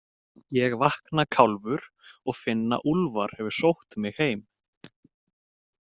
Ég vakna kálfur og finn að Úlfar hefur sótt mig heim.